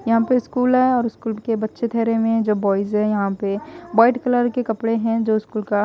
यहाँ पे स्कूल है और स्कूल के बच्चे ठहरे हुए है जो बॉयज है यहाँ पे वाइट कलर के कपड़े है जो स्कूल का --